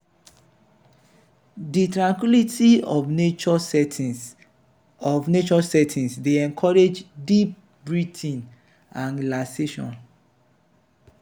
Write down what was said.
di tranquility of natural settings of natural settings dey encourage deep breathing and relaxation.